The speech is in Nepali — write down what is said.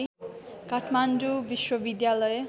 काठमाडौँ विश्वविद्यालय